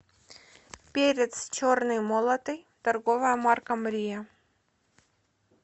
перец черный молотый торговая марка мрия